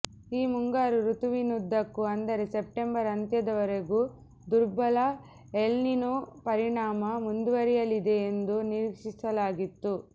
ಈ ಮುಂಗಾರು ಋತುವಿನುದ್ದಕ್ಕೂ ಅಂದರೆ ಸೆಪ್ಟೆಂಬರ್ ಅಂತ್ಯದವರೆಗೂ ದುರ್ಬಲ ಎಲ್ನಿನೊ ಪರಿಣಾಮ ಮುಂದುವರಿಯಲಿದೆ ಎಂದು ನಿರೀಕ್ಷಿಸಲಾಗಿತ್ತು